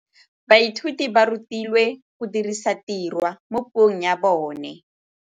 Baithuti ba rutilwe go dirisa tirwa mo puong ya bone.